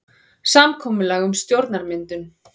Samkomulag um stjórnarmyndun